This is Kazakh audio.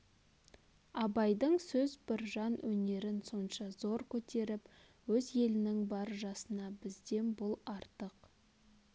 абайдың сөз біржан өнерін сонша зор көтеріп өз елнің бар жасына бізден бұл артық